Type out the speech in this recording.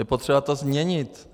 Je potřeba to změnit.